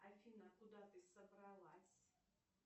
афина куда ты собралась